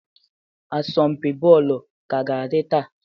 Asọmpi bọọlụ ka ga-adị taa?